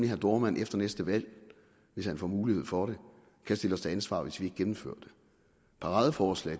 herre dohrmann efter næste valg hvis han får mulighed for det kan stille os til ansvar hvis vi ikke gennemfører det paradeforslag